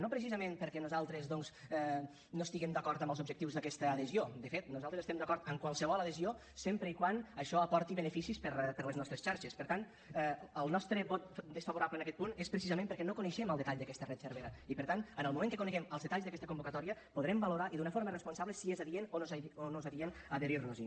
no precisament perquè nosaltres doncs no estiguem d’acord amb els objectius d’aquesta adhesió de fet nosaltres estem d’acord amb qualsevol adhesió sempre que això aporti beneficis per a les nostres xarxes per tant el nostre vot desfavorable en aquest punt és precisament perquè no coneixem el detall d’aquesta red cervera i per tant en el moment que coneguem els detalls d’aquesta convocatòria podrem valorar i d’una forma responsable si és adient o no és adient adherir nos hi